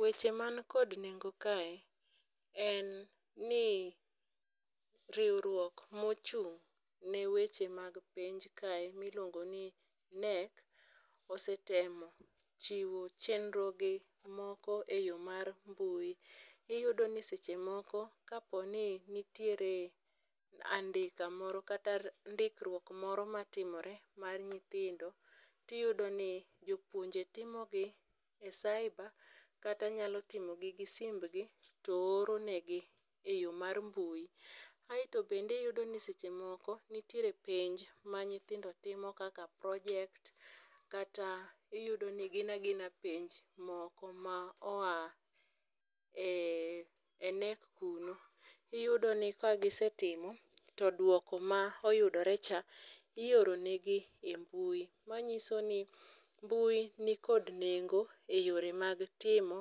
Weche man kod nengo kae en ni riwruok mochung' ne weche mag penj kae miluongo ni KNEC, osetemo chiwo chenro gi moko e yo mar mbui. Iyudo ni seche moko kaponi nitiere andika moro kata ndikruok moro matimore mar nyithindo, tiyudo ni jopuonje timo gi e cyber, kata nyalo timogi gi simbgi to oronegi e yo mar mbui. Aeto bendiyudo ni seche moko nitiere penj ma nyithindo timo kaka project, kata iyudo ni gin agina penj moko ma oa e e KNEC kuno. Iyudo ni kagisetimo to dwoko ma oyudore cha ioronegi e mbui. Manyiso ni mbui ni kod nengo e yore mag timo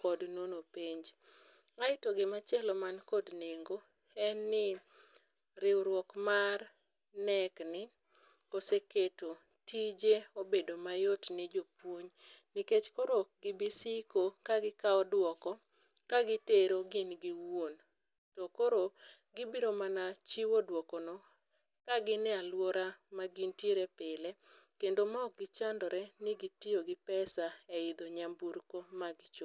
kod nono penj. Aeto gimachielo man kod nengo en ni riwruok mar KNEC ni oseketo tije obedo mayot ne jopuony. Nikech koro ok gibisiko ka gikawo duoko kagitero gin giwuon, to koro gibiro mana chiwo dwokono kagin e alwora ma gintiere pile. Kendo ma ok gichandore ni gitiyo gi pesa e idho nyamburko ma gicho.